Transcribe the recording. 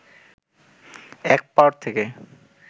এক পাড় থেকে